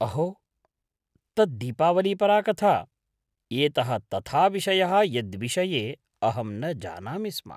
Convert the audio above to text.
अहो, तत् दीपावलीपरा कथा। एतः तथा विषयः यद्विषये अहं न जानामि स्म।